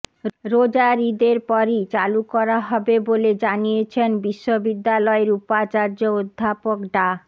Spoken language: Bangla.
রোজার ঈদের পরই চালু করা হবে বলে জানিয়েছেন বিশ্ববিদ্যালয়ের উপাচার্য অধ্যাপক ডা